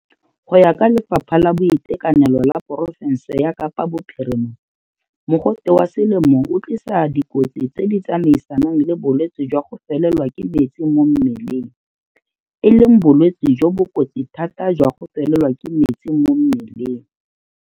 Go ya ka Lefapha la Boitekanelo la porofense ya Kapa Bophirima, mogote wa selemo o tlisa dikotsi tse di tsamaisanang le bolwetse jwa go felelwa ke metsi mo mmeleng, e leng bolwetse jo bo kotsi thata jwa go felelwa ke metsi mo mmeleng.